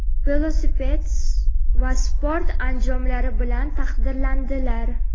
velosiped va sport anjomlari) bilan taqdirlandilar.